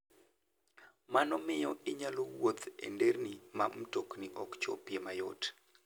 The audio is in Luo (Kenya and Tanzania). Mano miyo inyalo wuoth e nderni ma mtokni ok chopie mayot.